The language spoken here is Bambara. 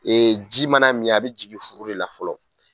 ji mana min a be jigi furu de la fɔlɔ